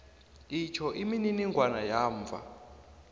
itjho imininingwana yamva